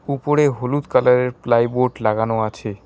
উপরে হলুদ কালারের প্লাইউড লাগানো আছে।